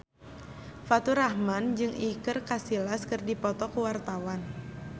Faturrahman jeung Iker Casillas keur dipoto ku wartawan